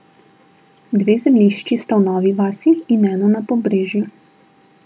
Dve zemljišči sta v Novi vasi in eno na Pobrežju.